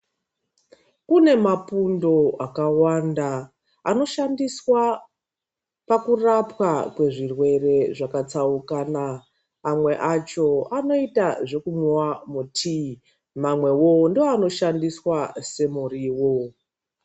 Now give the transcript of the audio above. Kune mapundo akawanda anoshandiswa pakurapwa kwe zvirwere zvakatsaukana amwe acho anoita zvekumwiwa mutii mamwewo ndoanoshandiswa semuriwo.